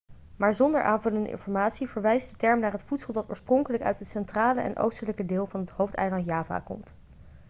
maar zonder aanvullende informatie verwijst de term naar het voedsel dat oorspronkelijk uit het centrale en oostelijke deel van het hoofdeiland java komt